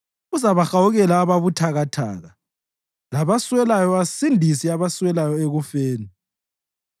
Uzabahawukela ababuthakathaka labaswelayo asindise abaswelayo ekufeni.